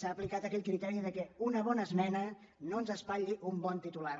s’ha aplicat aquell criteri que una bona esmena no ens espatlli un bon ti·tular